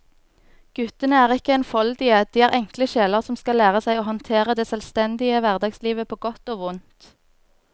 Guttene er ikke enfoldige, de er enkle sjeler som skal lære seg å håndtere det selvstendige hverdagslivet på godt og vondt.